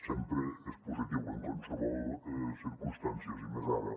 sempre és positiu en qualssevol circumstàncies i més ara